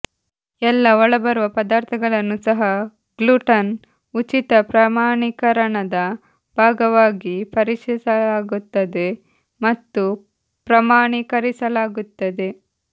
ಎಲ್ಲಾ ಒಳಬರುವ ಪದಾರ್ಥಗಳನ್ನು ಸಹ ಗ್ಲುಟನ್ ಉಚಿತ ಪ್ರಮಾಣೀಕರಣದ ಭಾಗವಾಗಿ ಪರೀಕ್ಷಿಸಲಾಗುತ್ತದೆ ಮತ್ತು ಪ್ರಮಾಣೀಕರಿಸಲಾಗುತ್ತದೆ